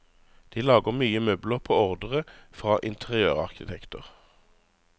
De lager mye møbler på ordre fra interiørarkitekter.